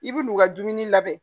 I bi n'u ka dumuni labɛn